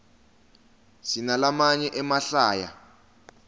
sinalamaye emahlaya